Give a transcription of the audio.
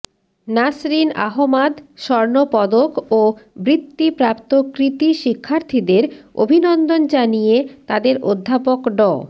নাসরীন আহমাদ স্বর্ণপদক ও বৃত্তিপ্রাপ্ত কৃতি শিক্ষার্থীদের অভিনন্দন জানিয়ে তাদের অধ্যাপক ড